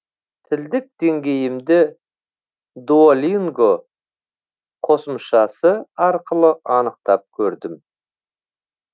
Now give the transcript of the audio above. тілдік деңгейімді дуолинго қосымшасы арқылы анықтап көрдім